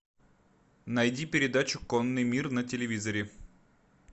найди передачу конный мир на телевизоре